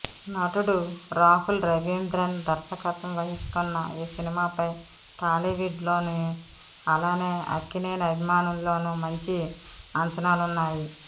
నటుడు రాహుల్ రవీంద్రన్ దర్శకత్వం వహిస్తున్న ఈ సినిమాపై టాలీవుడ్ లోను అలానే అక్కినేని అభిమానుల్లోనూ మంచి అంచనాలున్నాయి